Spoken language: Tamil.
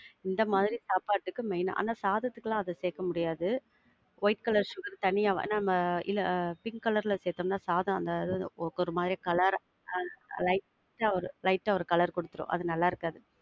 இந்த மாதிரி சாப்பாட்டுக்கு main. ஆனா சாதத்துக்குலாம் அத சேக்க முடியாது. white colour sugar தனியா நம்ம இல்ல பிங்க் colour ல சேத்தொம்னா சாதம் அந்த இது ஒரு மாரி colour ஆ light ஆ ஒரு. light ஆ ஒரு colour குடுத்துரும். அது நல்லா இருக்காது.